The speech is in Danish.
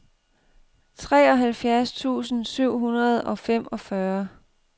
treoghalvfjerds tusind syv hundrede og femogfyrre